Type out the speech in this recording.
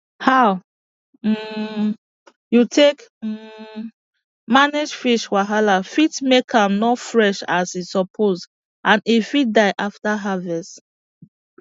how um you take um manage fish wahala fit make am no fresh as e suppose and e fit die after harvest